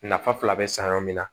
Nafa fila bɛ san yɔrɔ min na